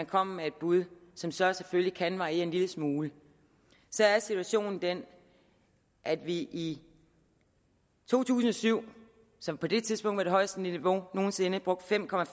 kommer med et bud som så selvfølgelig kan variere en lille smule så er situationen den at vi i to tusind og syv som på det tidspunkt var det højeste niveau nogen sinde brugte